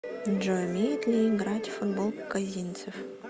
джой умеет ли играть в футбол козинцев